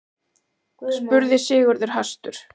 spurði Sigurður hastur.